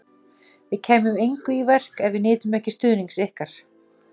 Við kæmum engu í verk, ef við nytum ekki stuðnings ykkar